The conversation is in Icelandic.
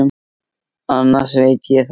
Annars veit ég það ekki.